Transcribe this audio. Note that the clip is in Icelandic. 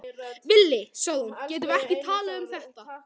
Villi, sagði hún, getum við ekki talað um þetta?